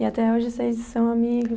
E até hoje vocês são amigos?